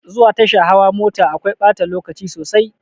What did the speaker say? Zuwa tasha hawa mota akwai ɓata lokaci sosai.